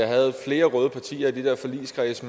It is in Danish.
havde flere røde partier i de der forligskredse